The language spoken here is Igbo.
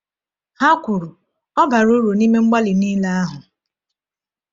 Ha kwuru: “Ọ bara uru n’ime mgbalị niile ahụ.”